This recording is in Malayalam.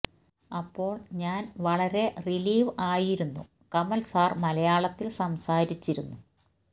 അപ്പോൾ ഞാൻ വളരെ റിലിവ് ആയിരുന്നു കമൽ സാർ മലയാളത്തിൽ സംസാരിച്ചിരുന്നു